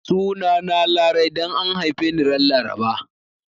Sunana Larai dan an haife ni ran Laraba